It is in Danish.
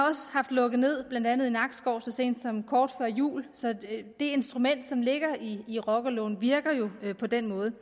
lukket ned blandt andet i nakskov så sent som kort før jul så det instrument som ligger i rockerloven virker jo på den måde det